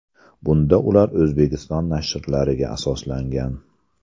Bunda ular O‘zbekiston nashrlariga asoslangan.